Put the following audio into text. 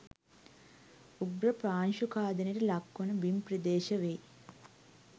උග්‍ර පාංශු ඛාදනයට ලක්වන බිම් ප්‍රදේශ වෙයි